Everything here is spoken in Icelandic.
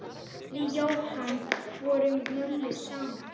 Við Jóhanna vorum mömmur saman.